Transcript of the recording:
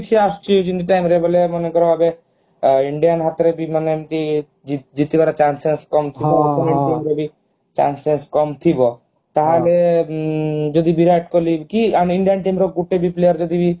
କିଛି ଆସୁଛି ଯେମିତି time ରେ ବୋଲେ ମନେକର ଏବେ indian ହାତରେ ବି ମାନେ ଏମିତି ଜିତିବାର chances କମ୍ ଥିବ ସେତେବେଳେ team ରେ ବି chances କମ୍ ଥିବ ତାହେଲେ ଯଦି ଉଁ ଯଦି ବିରାଟ କୋହଲି କି ଆମ indian cricket team ର ଗୋଟେ ବି players ଯଦି ବି